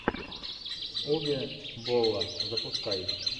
уве болла запускай